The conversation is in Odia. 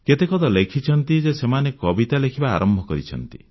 କେତେକ ତ ଲେଖିଛନ୍ତି ଯେ ସେମାନେ କବିତା ଲେଖିବା ଆରମ୍ଭ କରିଛନ୍ତି